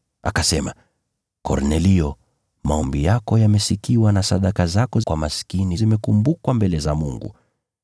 akasema, ‘Kornelio, maombi yako yamesikiwa na sadaka zako kwa maskini zimekumbukwa mbele za Mungu.